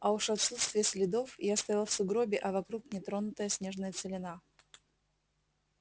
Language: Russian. а уж отсутствие следов я стоял в сугробе а вокруг нетронутая снежная целина